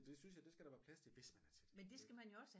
Det synes jeg det skal der være plads til hvis man er til det ikke